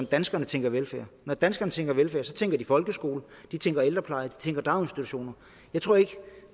danskerne tænker velfærd når danskerne tænker velfærd tænker de folkeskole de tænker ældrepleje og de tænker daginstitutioner jeg tror ikke